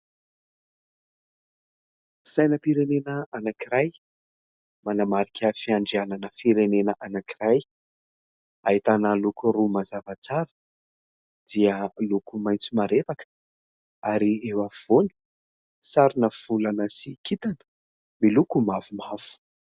Sainam-pirenena anankiray manamarika fiandrianana firenena anankiray, ahitana loko roa mazava tsara dia loko maitso marevaka ary eo afovoany sarina volana sy kitana miloko mavomavo.